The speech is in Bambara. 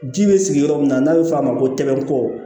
Ji bɛ sigi yɔrɔ min na n'a bɛ f'o ma ko tɛmɛnko